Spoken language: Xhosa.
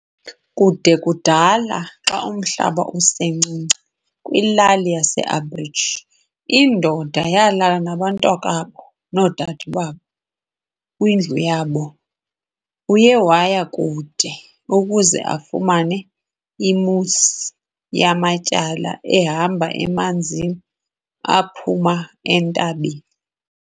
Kude kudala, xa umhlaba usencinci, kwilali ye-Aborigine, indoda yalala nabantakwabo noodadewabo kwindlu yabo. Uye waya kude, ukuze afumane i-moose yamatyala ehamba emanzini aphuma entabeni.